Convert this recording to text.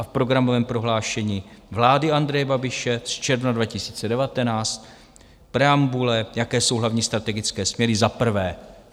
A v programovém prohlášení vlády Andreje Babiše z června 2019 preambule, jaké jsou hlavní strategické směry: Za prvé.